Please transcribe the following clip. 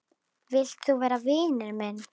Vilt þú vera vinur minn?